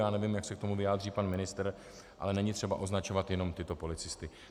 Já nevím, jak se k tomu vyjádří pan ministr, ale není třeba označovat jenom tyto policisty.